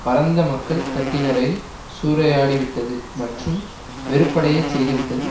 பரந்த மக்கள் தட்டினரை சூறையாடி விட்டது மற்றும் வெறுப்படையச் செய்துவிட்டது